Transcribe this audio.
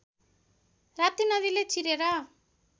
राप्ती नदीले चिरेर